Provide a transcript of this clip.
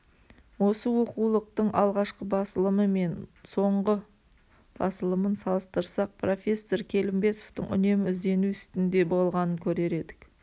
осы оқулықтың алғашқы басылымы мен мен соңғы басылымын салыстырсақ профессор келімбетовтың үнемі іздену үстінде болғанын көрер едік